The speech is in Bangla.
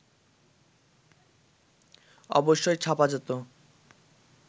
অবশ্যই ছাপা যেত